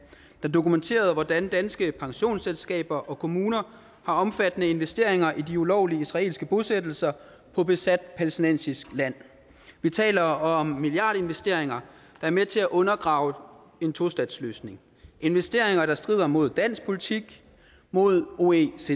der dokumenterede hvordan danske pensionsselskaber og kommuner har omfattende investeringer i de ulovlige israelske bosættelser på besat palæstinensisk land vi taler om milliardinvesteringer der er med til at undergrave en tostatsløsning investeringer der strider mod dansk politik mod oecds